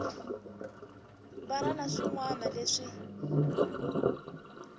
wana na swin wana leswi